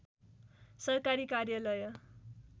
सरकारी कार्यालय